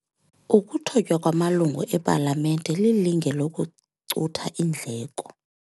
Ukuthotywa kwamalungu epalamente lilinge lokucutha iindleko.